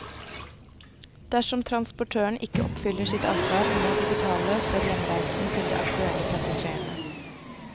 Dersom transportøren ikke oppfyller sitt ansvar må de betale for hjemreisen til de aktuelle passasjerene.